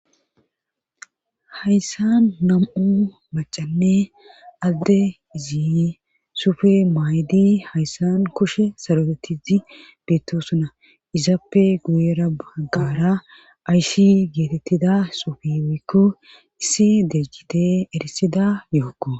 Hayssan nam'u macanne adde izi sufe maaydi hayssan kushe sarotettizi beettosuna izappe guyera baggara ayshi geetettida sufiwykko issi deeggite erisida yookko.